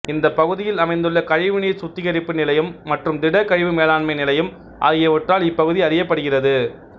இந்த பகுதியில் அமைந்துள்ள கழிவு நீர் சுத்தீகரிப்பு நிலையம் மற்றும் திட கழிவு மேலாண்மை நிலையம் ஆகியவற்றால் இப்பகுதி அறியப்படுகிறது